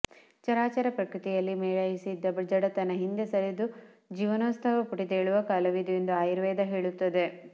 ಚರಾಚರ ಪ್ರಕೃತಿಯಲ್ಲಿ ಮೇಳೈಸಿದ್ದ ಜಡತನ ಹಿಂದೆ ಸರಿದು ಜೀವನೋತ್ಸಾಹ ಪುಟಿದೇಳುವ ಕಾಲವಿದು ಎಂದು ಆಯುರ್ವೇದ ಹೇಳುತ್ತದೆ